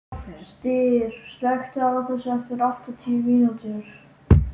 Styr, slökktu á þessu eftir áttatíu mínútur.